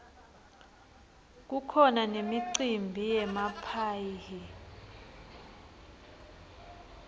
kukhona nemicimbi yemaphayhi